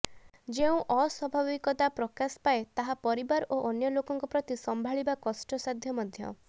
ଯେଉଁ ଅସ୍ବାବଭିକତା ପ୍ରକାଶ ପାଏ ତାହା ପରିବାର ଓ ଅନ୍ୟ ଲୋକଙ୍କ ପ୍ରତି ସମ୍ଭାଳିବା କଷ୍ଟସାଧ୍ୟ ମଧ୍ୟ